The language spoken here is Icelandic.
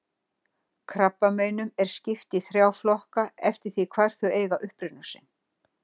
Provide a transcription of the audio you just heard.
Krabbameinum er skipt í þrjá flokka eftir því hvar þau eiga uppruna sinn.